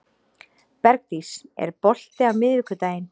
Bergdís, er bolti á miðvikudaginn?